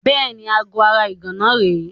Bẹ́ẹ̀ni, aago ara ìgànná náà rèé.